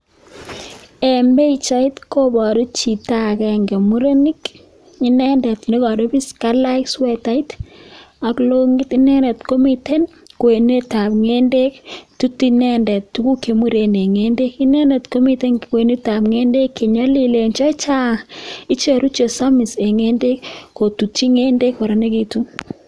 Eng pichait kobaru Chito nemitei kotutu timnda Eng ngendeek ngendeee Chu koyache ketutchi timndaa sikotililitu